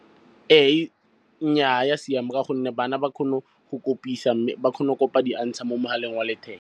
Nnyaa, ga ya siama ka gonne bana ba kgone go kopisa. Mme ba kgona go kopa di-answer mo mogaleng wa letheka.